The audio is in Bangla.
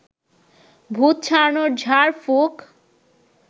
ভূত ছাড়ানোর ঝাড়ফুঁক